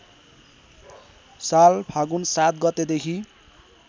साल फागुन ७ गतेदेखि